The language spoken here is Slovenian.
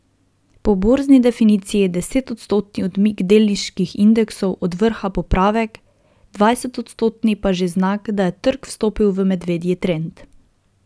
Po borzni definiciji je desetodstotni odmik delniških indeksov od vrha popravek, dvajsetodstotni pa že znak, da je trg vstopil v medvedji trend.